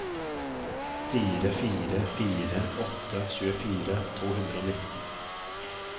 fire fire fire åtte tjuefire to hundre og nitten